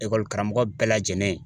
Ekɔli karamɔgɔ bɛɛ lajɛlen.